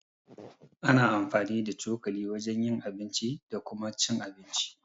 Ana amfani da cokali wajen yin abinci da Kuma cin abinci.